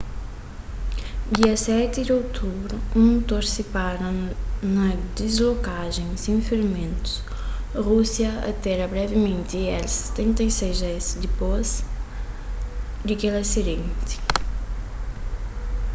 dia 7 di otubru un mutor sipara na diskolajen sen ferimentus rúsia atera brevimenti il-76s dipôs di kel asidenti